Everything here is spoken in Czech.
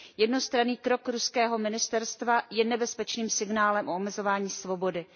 Jednostranný krok ruského ministerstva je nebezpečným signálem o omezování svobody.